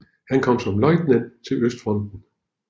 Han kom som løjtnant til Østfronten